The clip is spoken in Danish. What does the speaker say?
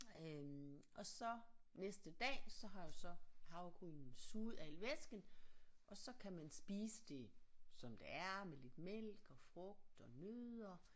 Øh og så næste dag så har du så havregrynene suget al væsken og så kan man spise det som det er med lidt mælk og frugt og nødder